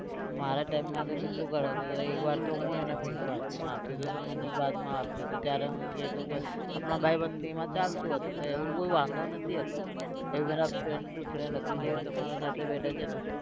મારે time માં તો કેટલું કરાવતો હતો એક વાર તો હું એના પૈસા આપ્યો હતો તો મને બાદમાં આપ્યું હતું ત્યારે હું કીધું આપણા ભાઈબંધીમાં ચાલતું હતું તો એવું કઈ વાંધો નથી હતું એ પહેલા friend to friend હતું જે તમારા સાથે બેઠા છે ને